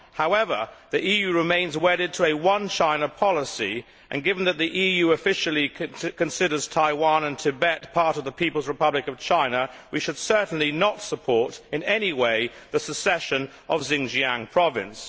However, the EU remains wedded to a one China policy and, given that the EU officially considers Taiwan and Tibet part of the People's Republic of China, we should certainly not support in any way the secession of Xinjiang province.